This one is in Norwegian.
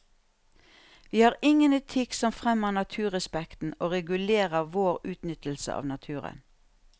Vi har ingen etikk som fremmer naturrespekten og regulerer vår utnyttelse av naturen.